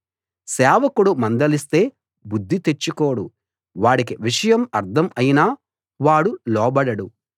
సేవకుడు మందలిస్తే బుద్ధి తెచ్చుకోడు వాడికి విషయం అర్థం అయినా వాడు లోబడడు